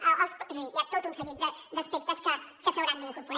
és a dir hi ha tot un seguit d’aspectes que s’hi hauran d’incorporar